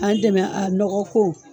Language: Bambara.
an dɛmɛ a nɔgɔ fo